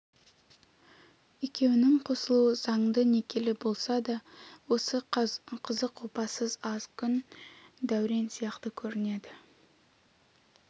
екеуінің қосылуы заңды некелі болса да осы қызық опасыз аз күн дәурен сияқты көрінеді